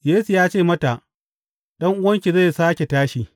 Yesu ya ce mata, Ɗan’uwanki zai sāke tashi.